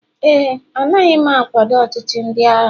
éè, anaghị m akwado ọchịchị ndị agha